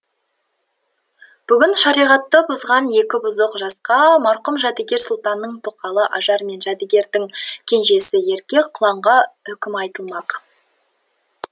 бүгін шариғатты бұзған екі бұзық жасқа марқұм жәдігер сұлтанның тоқалы ажар мен жәдігердің кенжесі ерке құланға үкім айтылмақ